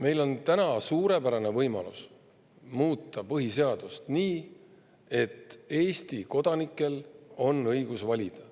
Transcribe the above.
Meil on täna suurepärane võimalus muuta põhiseadust nii, et Eesti kodanikel on õigus valida.